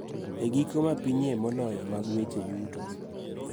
E giko ma pinyie moloyo mag weche yuto.